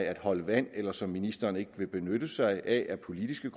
at holde vand eller som ministeren ikke vil benytte sig af af politiske